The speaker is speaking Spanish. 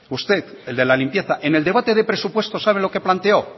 usted el de la limpieza en el debate de presupuestos sabe lo que planteó